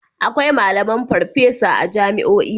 Akwai malaman furffesa a jami'o'i.